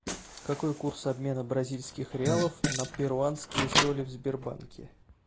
какой курс обмена бразильских реалов на перуанские соли в сбербанке